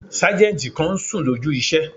Sájẹ̀ntì kan n sùn lójú iṣẹ́